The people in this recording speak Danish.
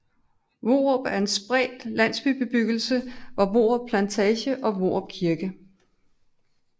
Hvorup er en spredt landsbybebyggelse ved Hvorup Plantage og Hvorup Kirke